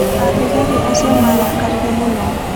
Athigari acio nĩ maarakarire mũno.